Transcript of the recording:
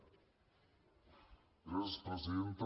gràcies presidenta